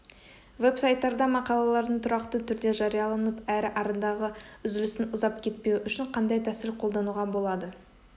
веб-сайттарда мақалалардың тұрақты түрде жарияланып әрі арадағы үзілістің ұзап кетпеуі үшін қандай тәсіл қолдануға болады